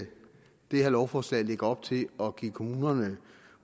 det her lovforslag lægger op til at give kommunerne